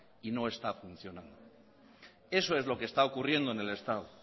y no está funcionando eso es lo que está ocurriendo en el estado